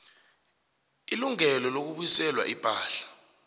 ilungelo lokubuyiselwa ipahla